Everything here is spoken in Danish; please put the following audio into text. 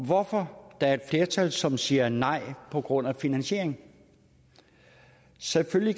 hvorfor der er et flertal som siger nej på grund af finansieringen selvfølgelig